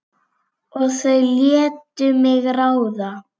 Og þau létu mig ráða.